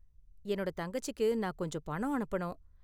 என்னோட தங்கச்சிக்கு நான் கொஞ்சம் பணம் அனுப்பணும்.